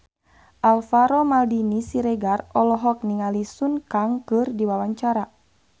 Alvaro Maldini Siregar olohok ningali Sun Kang keur diwawancara